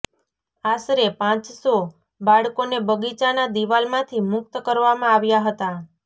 આશરે પાંચસો બાળકોને બગીચાના દિવાલમાંથી મુક્ત કરવામાં આવ્યા હતા